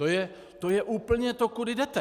To je úplně to, kudy jdete.